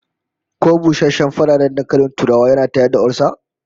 Ko busasshen ferarren dankalin turawa yana tayar da olsa?